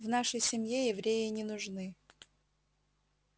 в нашей семье евреи не нужны